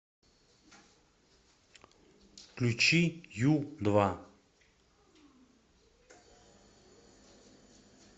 включи ю два